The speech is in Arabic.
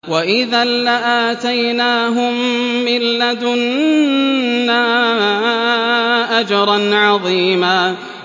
وَإِذًا لَّآتَيْنَاهُم مِّن لَّدُنَّا أَجْرًا عَظِيمًا